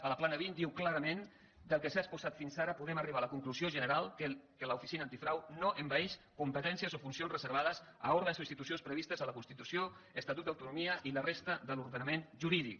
a la plana vint diu clarament del que s’ha exposat fins ara podem arribar a la conclusió general que l’oficina antifrau no envaeix competències o funcions reservades a òrgans o institucions previstes a la constitució estatut d’autonomia i la resta de l’ordenament jurídic